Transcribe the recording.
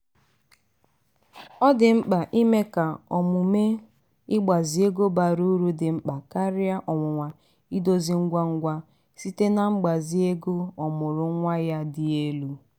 ọ dị mkpa ime ka omume ịgbazi ego bara uru dị mkpa karịa ọnwụnwa idozi ngwa ngwa site na mgbazi ego ọmụụrụ nwa ya dị elu.